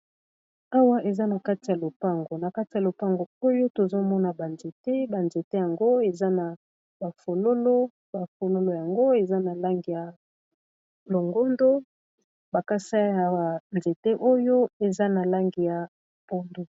awa eza na kati ya lopango na kati ya lopango oyo tozomona banzete banzete yango eza na bafololo bafololo yango eza na lange ya longondo bakasi ya nzete oyo eza na lange ya pondo